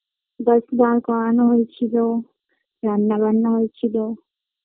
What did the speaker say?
bus দার করানো হয়েছিল রান্না বান্না হয়েছিল